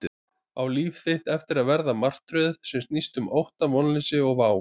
Á líf þitt eftir að verða martröð sem snýst um ótta, vonleysi og vá?